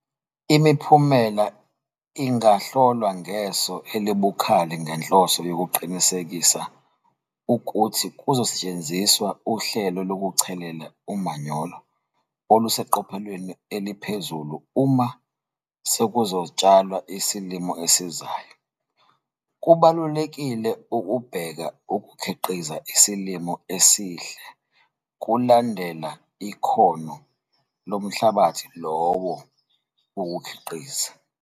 Imiphumela ingahlolwa ngeso elibukhali ngenhloso yokuqinisekisa ukuthi kuzosetshenziswa uhlelo lokuchelela umanyolo oluseqophelweni eliphezulu uma sekuzotshalwa isilimo esizayo. Kubalulekile ukubheka ukukhiqiza isilimo esihle kulandela ikhono lomhlabathi lowo wokukhiqiza.